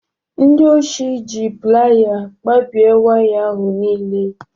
Ndị oshi ji playa kpabie waya ahụ niile